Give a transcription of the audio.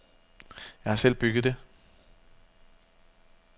Jeg har selv bygget det.